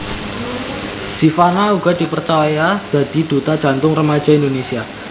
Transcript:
Zivanna uga dipercaya dadi duta Jantung Remaja Indonésia